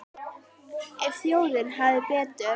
En þjóðin hafði betur.